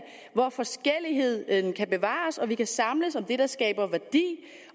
hvor forskelligheden kan bevares og vi kan samles om det der skaber værdi